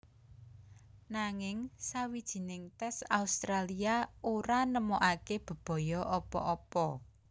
Nanging sawijining tès Australia ora nemokaké bebaya apa apa